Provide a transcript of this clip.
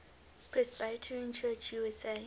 presbyterian church usa